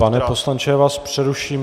Pane poslanče, já vás přeruším.